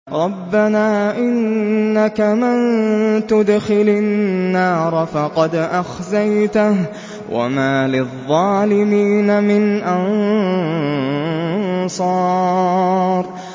رَبَّنَا إِنَّكَ مَن تُدْخِلِ النَّارَ فَقَدْ أَخْزَيْتَهُ ۖ وَمَا لِلظَّالِمِينَ مِنْ أَنصَارٍ